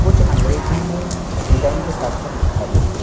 कुछ अंग्रेजी मे डिजाइन के साथ में लिखा भी है।